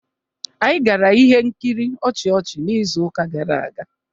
Anyị gara ihe nkiri ọchị ọchị n'izuụka gara aga.